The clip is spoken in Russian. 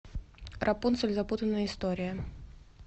рапунцель запутанная история